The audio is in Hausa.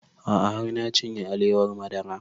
A'a har na cinye alewar madara